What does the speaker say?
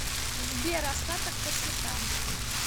сбер остаток по счетам